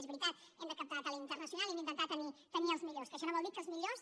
és veritat hem de captar talent internacional i hem d’intentar tenir els millors que això no vol dir que els millors